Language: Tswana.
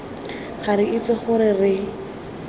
ga re itse gore re